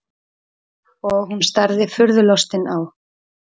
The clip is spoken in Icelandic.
Og hún starði furðulostin á-